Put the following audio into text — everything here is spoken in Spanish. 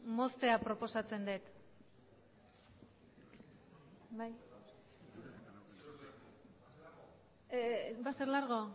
moztea proposatzen dut va a ser largo